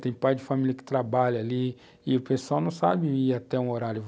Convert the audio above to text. Tem pai de família que trabalha ali e o pessoal não sabe ir até um horário.